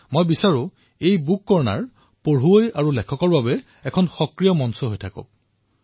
মই বিচাৰো যে এই গ্ৰন্থ শিতান পঢ়ুৱৈ তথা লিখকসকলৰ বাবে এক সক্ৰিয় মঞ্চ হিচাপে বিবেচিত হওক